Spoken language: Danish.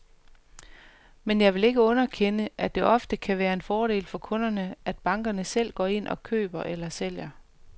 Men jeg vil ikke underkende, at det ofte kan være en fordel for kunderne, at bankerne selv går ind og køber eller sælger.